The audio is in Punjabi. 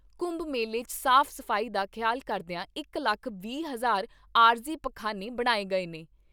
ਕੁੰਭ ਮੇਲੇ 'ਚ ਸਾਫ਼ ਸਫ਼ਾਈ ਦਾ ਖਿਆਲ ਕਰਦਿਆਂ ਇਕ ਲੱਖ ਵੀਹ ਹਜ਼ਾਰ ਆਰਜ਼ੀ ਪਾਖਾਨੇ ਬਣਾਏ ਗਏ ਨੇ।